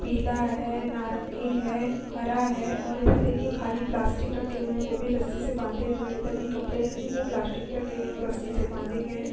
पीला है नारंगी है हरा है और इधर देखिए खाली प्लास्टिक रखे हुए हैं वो भी रस्सी से बांधे हुए हैं और इधर भी कपड़े हैं जो वो प्लास्टिक में रखे गए हैं और रस्सी से बांधे गए हैं।